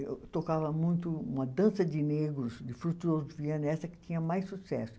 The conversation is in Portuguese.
Eu tocava muito uma dança de negros, de Frutuoso Viana, essa que tinha mais sucesso.